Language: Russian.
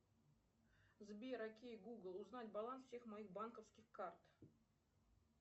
сбер окей гугл узнать баланс всех моих банковских карт